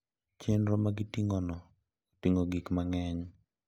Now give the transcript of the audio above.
Chenro magiting`ono oting`o gik mang`eny.